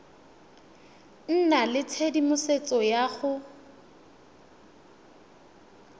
nna le tshedimosetso ya go